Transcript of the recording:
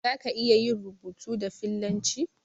Zaka iya yin rubutu da fillanci?